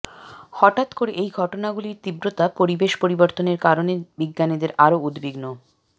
হঠাৎ করে এই ঘটনাগুলির তীব্রতা পরিবেশ পরিবর্তনের কারণে বিজ্ঞানীদের আরও উদ্বিগ্ন